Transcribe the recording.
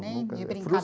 Nem de